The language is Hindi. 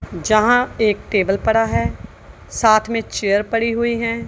जहां एक टेबल पड़ा है साथ में चेयर पड़ी हुई है।